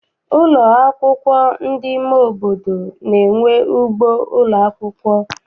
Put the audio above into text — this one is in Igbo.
Ụlọ akwụkwọ ndị nke ime obodo na-enwe ugbo ụlọakwụkwọ.